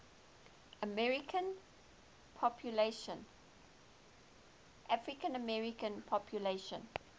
african american population